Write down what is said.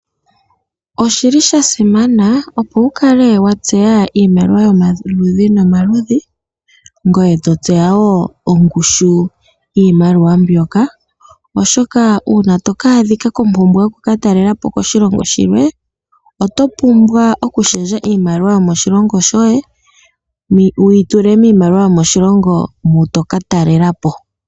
Oshili shasimana opo wukale watseya iimaliwa yomaludhi nomaludhi ngoye totseya woo ongushu yiimaliwa mbyoka ,oshoka uuna to ka dhika kompumbwe yoku katalelapo koshilongo shilwe otopumbwa oku shendja iimaliwa yomoshilongo shoye wuyi tule miimaliwa yomoshilongo moka toka talelapo.